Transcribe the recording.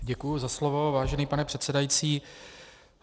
Děkuji za slovo, vážený pane předsedající.